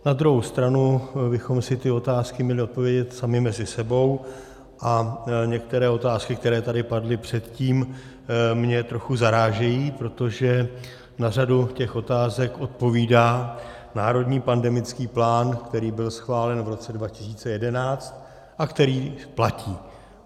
Na druhou stranu bychom si ty otázky měli odpovědět sami mezi sebou, a některé otázky, které tady padly předtím, mě trochu zarážejí, protože na řadu těch otázek odpovídá Národní pandemický plán, který byl schválen v roce 2011 a který platí.